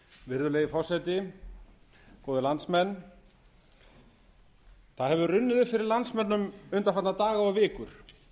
virðulegi forseti góðir landsmenn það hefur runnið upp fyrir landsmönnum undanfarna daga og vikur